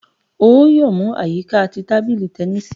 O yoo mu a yika ti tabili tẹnisi!